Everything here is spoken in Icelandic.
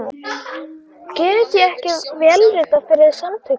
Get ég ekki vélritað fyrir Samtökin?